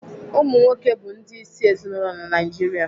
Ụmụnwoke bụ ndị ịsị ezinaụlọ na Naijiria.